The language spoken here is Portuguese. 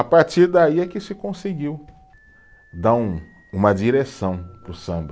A partir daí é que se conseguiu dar um, uma direção para o samba.